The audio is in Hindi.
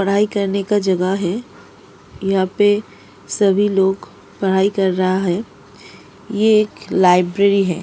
पढ़ाई करने का जगह है यहां पे सभी लोग पढ़ाई कर रहा हैं ये एक लाइब्रेरी है।